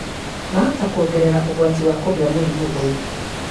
mahota kuongerera ũgwati wa kũgĩa mũrimũ ũyũ